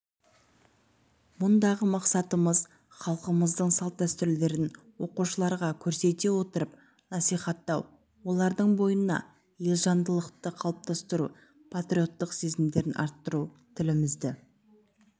мұндағы мақсатымыз халқымыздың салт-дәстүрлерін оқушыларға көрсете отырып насихаттау олардың бойына елжандылықты қалыптастыру патриоттық сезімдерін арттыру тілімізді